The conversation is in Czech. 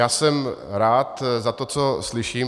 Já jsem rád za to, co slyším.